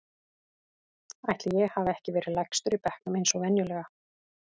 Ætli ég hafi ekki verið lægstur í bekknum eins og venjulega.